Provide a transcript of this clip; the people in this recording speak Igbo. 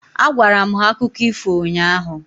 Agwara m ha akụkọ ifo ụnyaahụ.